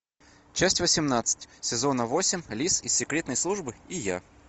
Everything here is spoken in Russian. часть восемнадцать сезона восемь лис из секретной службы и я